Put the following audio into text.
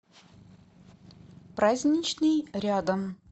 праздничный рядом